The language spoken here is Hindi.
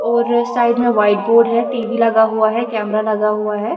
और साइड में वाइट बोर्ड है टी_वी लगा हुआ है कैमरा लगा हुआ है।